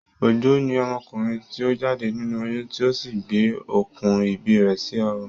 Ojo ni ọmọkùnrin ti o jáde nínú oyún ti o sí gbé okùn ìbí rẹ̀ sí ọrùn.